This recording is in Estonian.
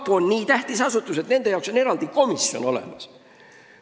Kapo on nii tähtis asutus, et nende jaoks on eraldi komisjon olemas.